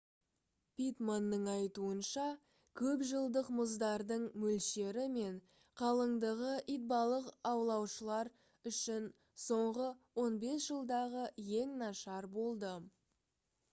питтманның айтуынша көпжылдық мұздардың мөлшері мен қалыңдығы итбалық аулаушылар үшін соңғы 15 жылдағы ең нашар болды